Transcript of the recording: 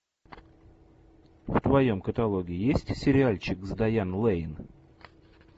в твоем каталоге есть сериальчик с дайан лейн